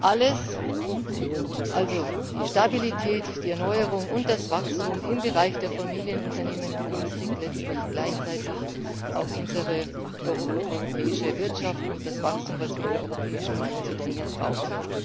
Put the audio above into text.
Alles also die Stabilität, die Erneuerung und das Wachstum im Bereich der Familienunternehmen begünstigt letztlich gleichzeitig auch unsere europäische Wirtschaft und das Wachstum, das wir in der Europäischen Union so dringend brauchen.